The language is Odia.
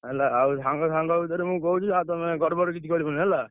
ହେଲା ଆଉ ସାଙ୍ଗ ସାଙ୍ଗ ଭିତରେ ମୁଁ କହୁଛି ଆଉ ତମେ ଗଡବଡ କିଛି କରିବନି ହେଲା।